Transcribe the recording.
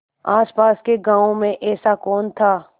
आसपास के गाँवों में ऐसा कौन था